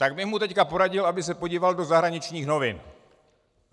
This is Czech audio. Tak bych mu teď poradil, aby se podíval do zahraničních novin.